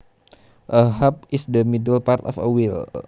A hub is the middle part of a wheel